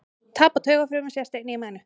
Tap á taugafrumum sést einnig í mænu.